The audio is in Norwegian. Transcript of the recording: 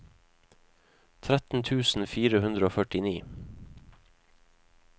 tretten tusen fire hundre og førtini